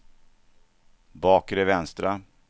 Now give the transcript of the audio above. bakre vänstra